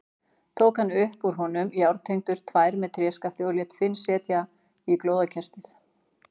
Tók hann upp úr honum járntengur tvær með tréskafti og lét Finn setja í glóðarkerið.